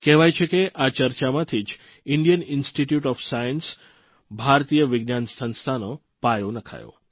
કહેવાય છે કે આ ચર્ચામાંથી જ ઇન્ડિયન ઇન્સ્ટીટયુટ ઓફ સાયન્સભારતીય વિજ્ઞાન સંસ્થાનો પાયો નંખાયો